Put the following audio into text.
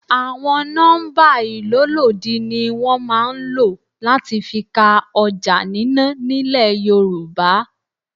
Àwọn nọ́mbà ìlólòdi ni wọn máa ń ló láti fi ka ọjà nínà nílẹ̀ Yorùbá.